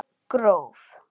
Gróf